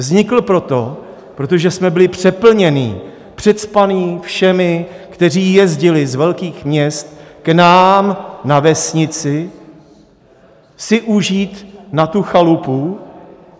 Vznikla proto, protože jsme byli přeplnění, přecpaní všemi, kteří jezdili z velkých měst k nám na vesnici si užít na tu chalupu.